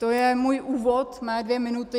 To je můj úvod, mé dvě minuty.